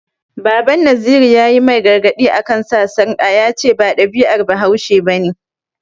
Baban Naziru ya yi mai gargaɗi a kan sa sarƙa, ya ce ba ɗabi'ar bahaushe ba ne.